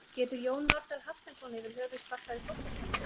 Getur Jón Norðdal Hafsteinsson yfir höfuð sparkað í fótbolta?